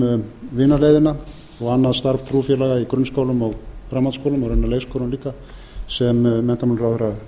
um vinaleiðina og annað starf trúfélaga í grunnskólum og framhaldsskólum og raunar leikskólum eiga sem